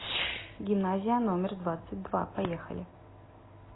гимназия номер двадцать два поехали